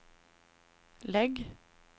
lägg